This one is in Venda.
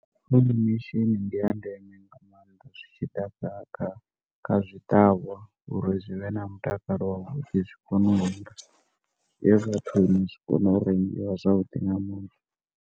Pollination ndi ya ndeme nga mannḓa zwi tshi ḓa kha kha zwi ṱavhwa uri zwi vhe na mutakalo wavhuḓi zwi kone u rengiwa zwiye vhathuni zwikone u rengwa zwavhudi nga .